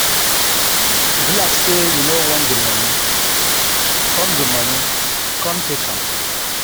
E be like say you no want the money, come the money come take am.